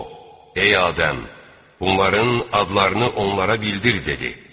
O, ey Adəm, bunların adlarını onlara bildir dedi.